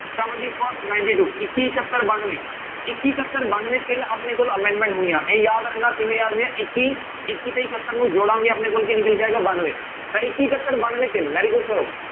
Seventy first ninety two ਇੱਕੀ ਇਕੱਹਤਰ ਬਾਨਵੇਂ, ਇੱਕੀ ਇਕੱਹਤਰ ਬਾਨਵੇਂ ਤਿੰਨ ਆਪਣੇ ਕੋਲ amendment ਹੋਈਆਂ ਇਹ ਯਾਦ ਰੱਖਣਾ, ਕਿਵੇਂ ਯਾਦ ਇੱਕੀ ਇੱਕੀ ਤੇ ਇਕੱਤਰ ਨੂੰ ਜੋੜਾਂਗੇ ਆਪਣੇ ਕੋਲ ਕੀ ਨਿਕਲ ਕੇ ਆਏਗਾ ਬਾਨਵੇਂ, ਤਾਂ ਇੱਕੀ ਇਕੱਹਤ ਬਾਨਵੇਂ ਤਿੰਨ very good sir